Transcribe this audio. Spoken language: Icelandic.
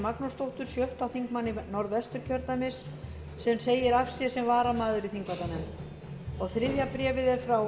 magnúsdóttur sjötti þingmaður norðvesturkjördæmis sem segir af sér sem varamaður í þingvallanefnd og þriðja bréfið er frá